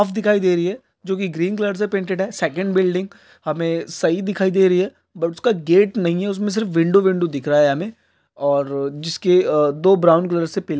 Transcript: साफ दिखाई दे रही है जो की ग्रीन कलर से पेटेड है सेकड बिल्डिग हमे सही दिखाई दे रही है बट उसका गेट नही है उसमे सिर्फ विडो विडो दिख रहा है हमे और जिसके दो ब्राउन कलर से पिल--